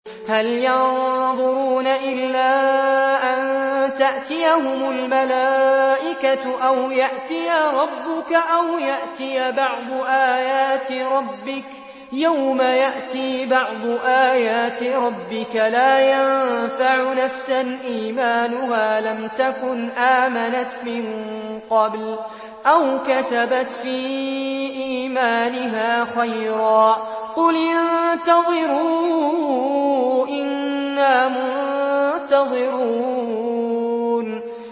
هَلْ يَنظُرُونَ إِلَّا أَن تَأْتِيَهُمُ الْمَلَائِكَةُ أَوْ يَأْتِيَ رَبُّكَ أَوْ يَأْتِيَ بَعْضُ آيَاتِ رَبِّكَ ۗ يَوْمَ يَأْتِي بَعْضُ آيَاتِ رَبِّكَ لَا يَنفَعُ نَفْسًا إِيمَانُهَا لَمْ تَكُنْ آمَنَتْ مِن قَبْلُ أَوْ كَسَبَتْ فِي إِيمَانِهَا خَيْرًا ۗ قُلِ انتَظِرُوا إِنَّا مُنتَظِرُونَ